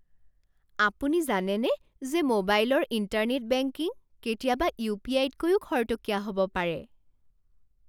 আপুনি জানেনে যে মোবাইলৰ ইণ্টাৰনেট বেংকিং কেতিয়াবা ইউ.পি.আই.তকৈও খৰতকীয়া হ'ব পাৰে?